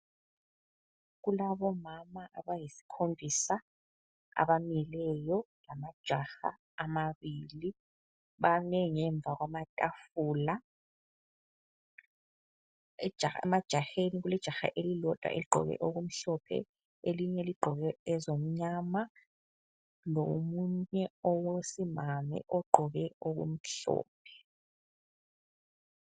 Kulabomama abayisikhombisa abamileyo lamajaha amabili. Bame ngemva kwamatafula. Emajaheni kulejaha elilodwa eligqoke okumhlophe elinye ligqoke ezomnyama lomunye owesimame ogqoke okumhlophe.